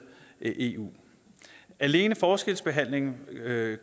i eu alene forskelsbehandlingen